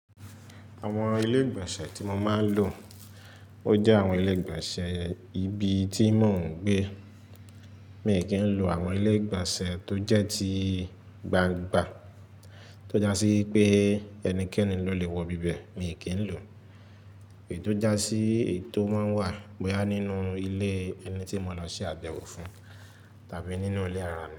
Àwọn ilé ìgbọ̀nsẹ̀ tí mo máa ń lò, ó jẹ́ àwọn ilé ìgbọ̀nsẹ̀ ibi tí mò ń gbé. Mi kì í lọ àwọn ilé ìgbọ̀nsẹ̀ tó jẹ́ tí gbangba tó já sí pé ẹnikẹ́ni ló lè wọ bíbẹ̀, mi kì í lò. Èyí tó já sí èyí tó máa ń wà báyìí nínú ilé ẹni tí mo lọ ṣe àbẹ̀wò fún tàbí nínú ilé ara mi.